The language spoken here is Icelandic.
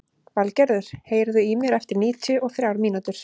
Valgerður, heyrðu í mér eftir níutíu og þrjár mínútur.